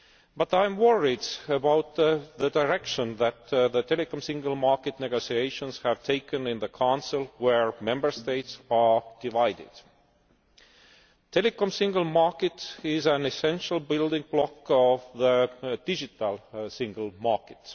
But I am worried about the direction that the Telecoms Single Market negotiations have taken in the Council, where Member States are divided. The Telecoms Single Market is an essential building block of the Digital Single Market.